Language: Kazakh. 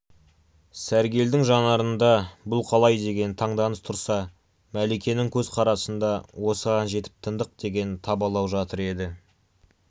сәргелдің жанарында бұл қалай деген таңданыс тұрса мәликенің көзқарасында осыған жетіп тыңдық деген табалау жатыр еді